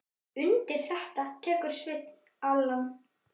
Undir þetta tekur Sveinn Allan.